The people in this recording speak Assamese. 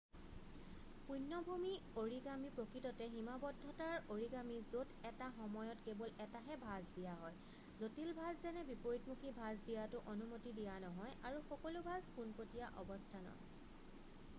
পূণ্যভূমি অৰিগামী প্ৰকৃততে সীমাবদ্ধতাৰ অৰিগামী য'ত এটা সময়ত কেৱল এটাহে ভাঁজ দিয়া হয় জটিল ভাঁজ যেনে বিপৰীতমুখী ভাঁজ দিয়াটো অনুমতি দিয়া নহয় আৰু সকলো ভাঁজ পোনপটীয়া অৱস্থানৰ